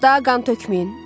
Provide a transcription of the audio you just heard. Daha qan tökməyin.